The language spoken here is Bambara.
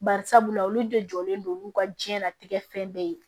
Bari sabula olu de jɔlen don olu ka diɲɛnatigɛ fɛn bɛɛ ye